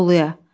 Anadoluya.